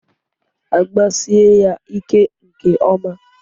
Agbasie ya ike nke ọma.